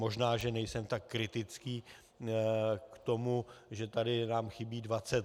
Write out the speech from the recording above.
Možná že nejsem tak kritický k tomu, že tady nám chybí 20 let.